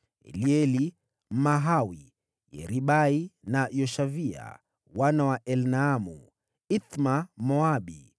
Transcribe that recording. Elieli Mmahawi, Yeribai na Yoshavia wana wa Elnaamu, Ithma Mmoabu,